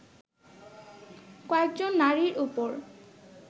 কয়েকজন নারীর উপর